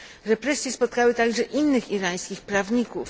Represje spotkały także innych irańskich prawników.